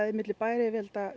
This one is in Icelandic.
milli bæjaryfirvalda